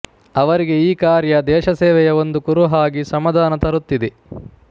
ಅವರಿಗೆ ಈ ಕಾರ್ಯ ದೇಶಸೇವೆಯ ಒಂದು ಕುರುಹಾಗಿ ಸಮಾಧಾನ ತರುತ್ತಿದೆ